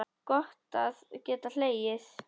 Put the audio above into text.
Gott að geta hlegið.